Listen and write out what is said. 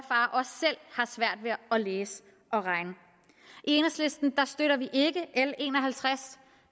og læse og regne i enhedslisten støtter vi ikke l en og halvtreds